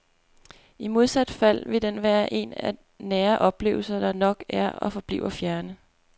I modsat fald vil den være en af nære oplevelser, der nok er og forbliver fjerne.